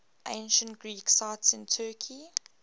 ancient greek sites in turkey